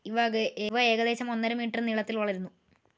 ഇവ ഏകദേശം ഒന്നര മീറ്റർ നീളത്തിൽ വളരുന്നു.